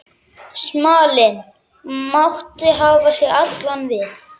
Smalinn mátti hafa sig allan við.